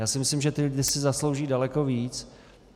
Já si myslím, že ti lidé si zaslouží daleko víc.